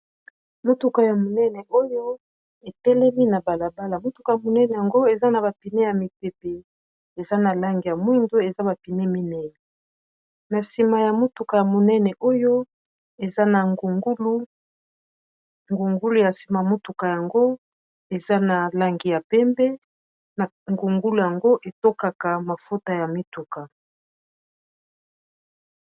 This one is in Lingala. motuka ya monene oyo etelemi na balabala motuka ya monene yango eza na bapine ya mipepe eza na langi ya mwindo eza bapine minei na nsima ya motuka ya monene oyo eza na ngungulungungulu ya nsima motuka yango eza na langi ya pembe na ngungulu yango etokaka mafota ya mituka